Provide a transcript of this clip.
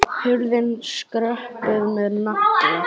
Hurðin skröpuð með nagla.